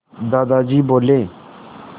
दादाजी बोले